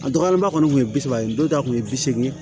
A dɔgɔyalenba kɔni tun ye bi saba ye dɔw ta kun ye bi seegin